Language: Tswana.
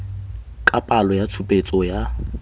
ka palo ya tshupetso ya